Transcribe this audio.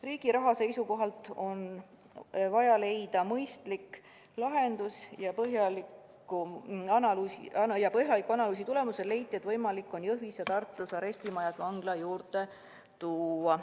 Riigi raha seisukohalt on vaja leida mõistlik lahendus ja põhjaliku analüüsi tulemusel leiti, et võimalik on Jõhvis ja Tartus arestimaja vangla juurde tuua.